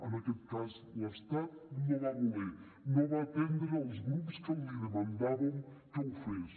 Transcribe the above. en aquest cas l’estat no va voler no va atendre els grups que li demanàvem que ho fes